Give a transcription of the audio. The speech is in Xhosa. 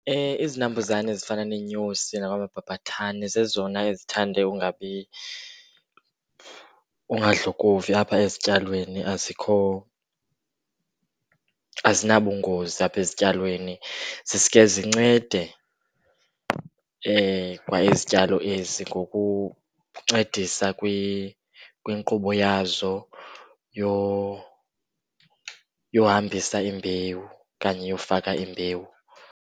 Izinambuzane ezifana neenyosi namabhabhathane zezona ezithande ungabi, ungadlokovi apha ezityalweni. Azikho azinabungozi apha ezityalweni. Ziske zincede kwa izityalo ezi ngokuncedisa kwinkqubo yazo yohambisa imbewu okanye yofaka imbewu.